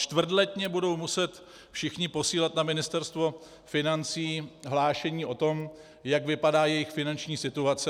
Čtvrtletně budou muset všichni posílat na Ministerstvo financí hlášení o tom, jak vypadá jejich finanční situace.